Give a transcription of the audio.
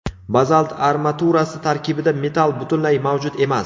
Bazalt armaturasi tarkibida metall butunlay mavjud emas.